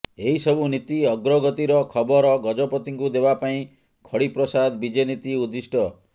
ଏହି ସବୁ ନୀତି ଅଗ୍ରଗତିର ଖବର ଗଜପତିଙ୍କୁ ଦେବା ପାଇଁ ଖଡ଼ିପ୍ରସାଦ ବିଜେ ନୀତି ଉଦ୍ଦିଷ୍ଟ